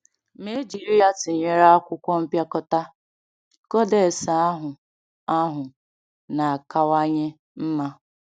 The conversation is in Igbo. Ma e jiri ya tụnyere akwụkwọ mpịakọta, codex ahụ ahụ na-akawanye mma.